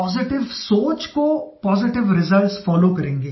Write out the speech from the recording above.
positive सोच को positive results follow करेंगे